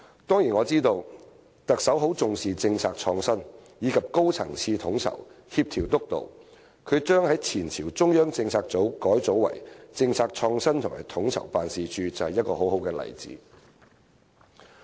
當然，我知道特首很重視政策創新，以及高層次的統籌、協調及督導，她將前朝的中央政策組改組為政策創新與統籌辦事處，就是一個很好的例子。